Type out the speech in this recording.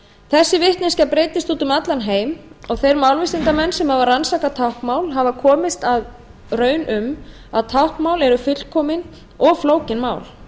þessi vitneskja breiddist út um allan heim og þeir málvísindamenn sem hafa rannsakað táknmál hafa komist að raun um að táknmál eru fullkomin og flókin mál